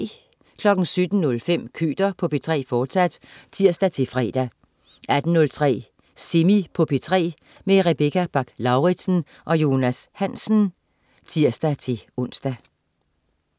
17.05 Køter på P3, fortsat (tirs-fre) 18.03 Semi på P3. Rebecca Bach-Lauritsen og Jonas Hansen (tirs-ons)